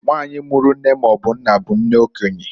Nwanyị mụrụ nne maọbụ nna bụ nne okenye.